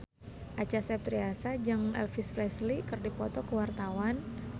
Acha Septriasa jeung Elvis Presley keur dipoto ku wartawan